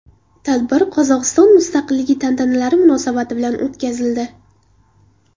Tadbir Qozog‘iston mustaqilligi tantanalari munosabati bilan o‘tkazildi.